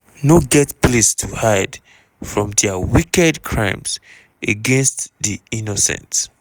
no get place to hide from dia wicked crimes against di innocent."